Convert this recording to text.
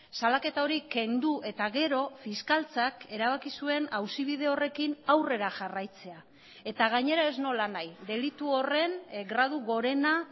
salaketa hori kendu eta gero fiskaltzak erabaki zuen auzi bide horrekin aurrera jarraitzea eta gainera ez nolanahi delitu horren gradu gorena